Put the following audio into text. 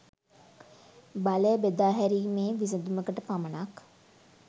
බලය බෙදා හැරීමේ විසඳුමකට පමණක්